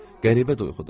Qəribə duyğudur.